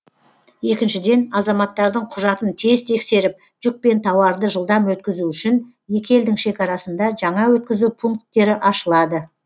екіншіден азаматтардың құжатын тез тексеріп жүк пен тауарды жылдам өткізу үшін екі елдің шекарасында жаңа өткізу пункттері ашылады